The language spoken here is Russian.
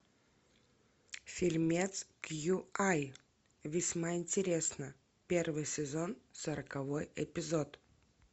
фильмец кьюай весьма интересно первый сезон сороковой эпизод